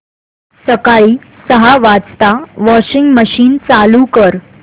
सकाळी सहा वाजता वॉशिंग मशीन चालू कर